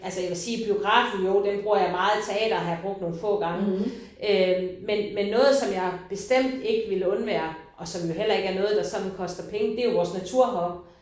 Altså jeg vil sige biografen jo den bruger jeg meget teatret har jeg brugt nogle få gange øh men men noget som jeg bestemt ikke ville undvære og som jo heller ikke er noget der sådan koster penge det er vores natur heroppe